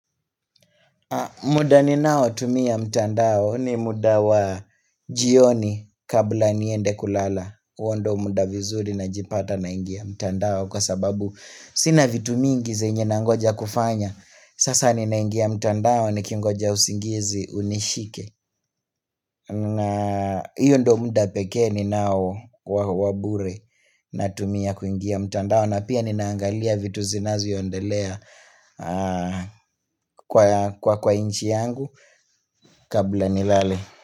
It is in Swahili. Muda ni nao tumia mtandao ni muda wa jioni kabla niende kulala huo ndio muda vizuri najipata naingia mtandao kwa sababu Sina vitu mingi zenye na ngoja kufanya Sasa ni na ingia mtandao ni kingoja usingizi unishike na hiyo ndio muda pekee ni nao wabure na tumia kuingia mtandao na pia ni naangalia vitu zinazoendelea kwa nchi yangu kabla nilale.